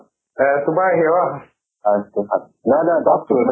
এহ তোমাৰ সেয়া নহয় নহয় দহ crore